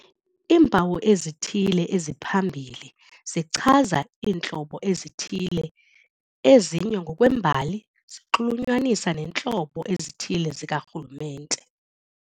Iimpawu ezithile eziphambili zichaza iintlobo ezithile, ezinye ngokwembali zinxulunyaniswa neentlobo ezithile zikarhulumente.